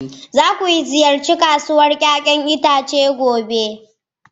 Za ku ziyarci kasuwar 'ya'yan itace gobe.